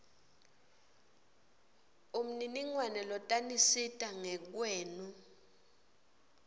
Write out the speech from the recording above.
umniningwane lotanisita ngekweni